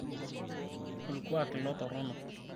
olkuak ilo torrono